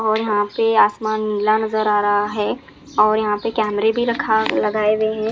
और यहां पे आसमान नीला नजर आ रहा है और यहां पे कैमरे भी रखा लगाए हुए हैं।